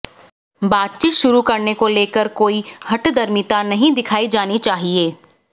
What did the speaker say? बातचीत शुरू करने को लेकर कोई हठधर्मिता नहीं दिखाई जानी चाहिए